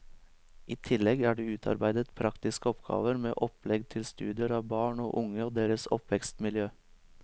I tillegg er det utarbeidet praktiske oppgaver med opplegg til studier av barn og unge og deres oppvekstmiljø.